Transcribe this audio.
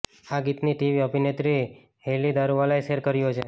આ ગીતને ટીવી અભિનેત્રી હેલી દારૂવાલાએ શેર કર્યું છે